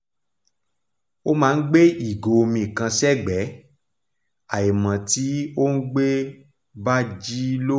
ó máa n gbé ìgò omi kan sẹ́gbẹ́ àímò tí òùngbẹ bá ji loru